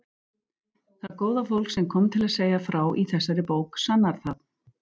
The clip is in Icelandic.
Það góða fólk sem kom til að segja frá í þessari bók sannar það.